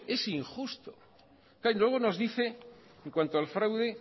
es injusto claro y luego nos dice en cuanto al fraude